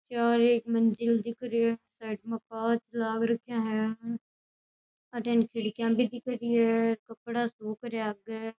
चार एक मंजिल दिख रही है साइड में कांच लाग रखिया है अठीने खिड़कियां भी दिख रही है कपड़ा सुख रहिया है आगे।